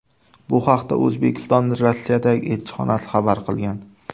Bu haqda O‘zbekistonning Rossiyadagi elchixonasi xabar qilgan .